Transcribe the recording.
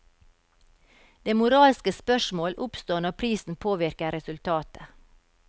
Det moralske spørsmål oppstår når prisen påvirker resultatet.